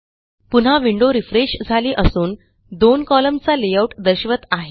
पुन्हा window refresh झाली असून दोन कोलम्न चा लेआउट दर्शवत आहे